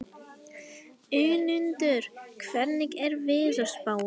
Önundur, hvernig er veðurspáin?